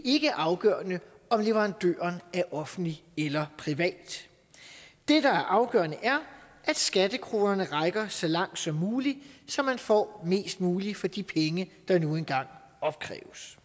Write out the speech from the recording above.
ikke er afgørende om leverandøren er offentlig eller privat det der er afgørende er at skattekronerne rækker så langt som muligt så man får mest muligt for de penge der nu engang opkræves